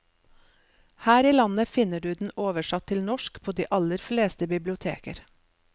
Her i landet finner du den oversatt til norsk på de aller fleste biblioteker.